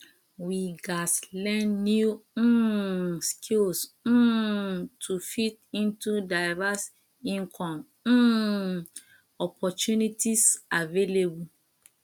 we gats learn new um skills um to fit into diverse income um opportunities available